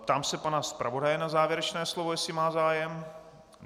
Ptám se pana zpravodaje na závěrečné slovo, jestli má zájem.